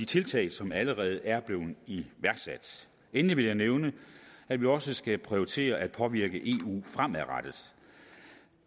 tiltag som allerede er blevet iværksat endelig vil jeg nævne at vi også skal prioritere det at påvirke eu fremadrettet